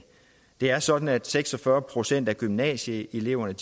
det er sådan at seks og fyrre procent af gymnasieeleverne